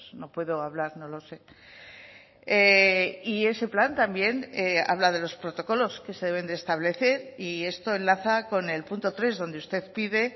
no puedo hablar no lo sé y ese plan también habla de los protocolos que se deben de establecer y esto enlaza con el punto tres donde usted pide